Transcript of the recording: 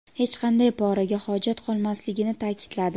hech qanday poraga hojat qolmasligini ta’kidladi.